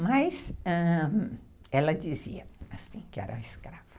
Mas, ãh, ela dizia que era uma escrava.